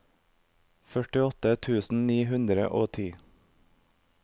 førtiåtte tusen ni hundre og ti